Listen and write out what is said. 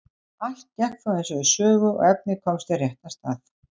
Allt gekk þó eins og í sögu og efnið komst á réttan stað.